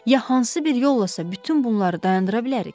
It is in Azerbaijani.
Ya hansı bir yollasa bütün bunları dayandıra bilərik?